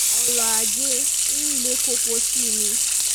ọrọ̀-ajé ń le koko sí i ni